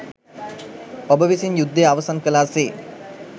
ඔබ විසින් යුද්දය අවසන් කලා සේ